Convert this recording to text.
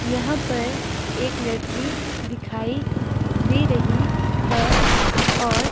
यहां पर एक लड़की दिखाई दे रही है और--